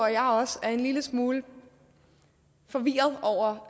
jeg også er en lille smule forvirret over